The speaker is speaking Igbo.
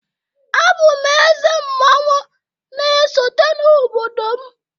Abụ m eze mmanwu na-esote n'obodo m